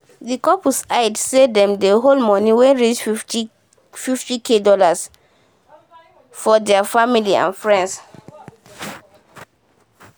d couple hide say dem dey owe moni wey reach 50k for dollar from deir family and friend